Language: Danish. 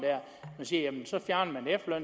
man siger